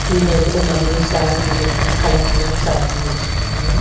இந்த இடத்துல நெறைய சாரிங்க இருக்கு கலர் கலர் சாரிங்க வச்சுருக்காங்க.